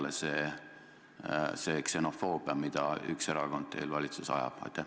Miks jääb peale see ksenofoobia, mida üks erakond teil valitsuses ajab?